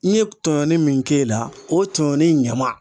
N ye tɔɲɔni min k'e la o tɔɲɔni ɲama